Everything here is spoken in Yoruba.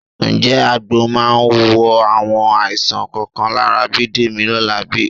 Ǹjẹ́ àgbo máa wo àwọn àìsàn kọ̀ọ̀kan lára Bídèmí lọ́la bí?